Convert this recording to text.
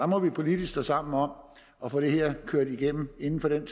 må vi politisk står sammen om at få det her kørt igennem inden for den